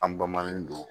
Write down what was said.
An bamanin don